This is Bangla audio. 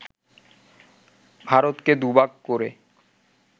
ভারতকে দুভাগ করে